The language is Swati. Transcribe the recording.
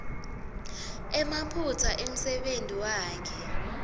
emaphutsa emsebentini wakhe